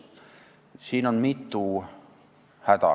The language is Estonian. Siin on mitu häda.